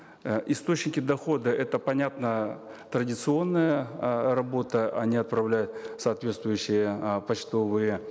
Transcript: э источники дохода это понятно традиционная э работа они отправляют соответствующие э почтовые